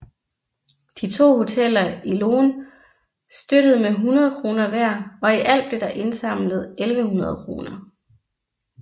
De to hoteller i Loen støttede med 100 kr hver og i alt blev der indsamlet 1100 kr